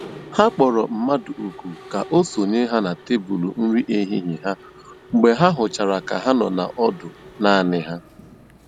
Ha kpọ̀rọ̀ mmadụ́ òkù́ kà o sònyè na tèbụ́lụ́ nri èhìhiè ha mgbe ha hụ̀chàra kà ha nọ̀ ọ́dụ́ naanì ha.